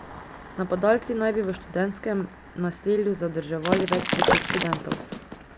Napadalci naj bi v študentskem naselju zadrževali več deset študentov.